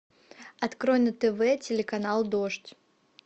открой на тв телеканал дождь